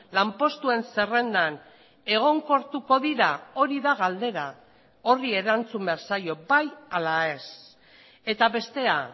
lanpostuen zerrendan egonkortuko dira hori da galdera horri erantzun behar zaio bai ala ez eta bestea